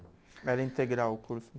Era integral o curso?